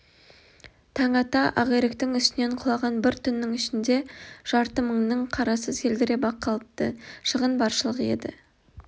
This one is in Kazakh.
таң ата ақиректің үстінен құлаған бір түннің ішінде жарты мыңнын қарасы селдіреп-ақ калыпты шығын баршылық еді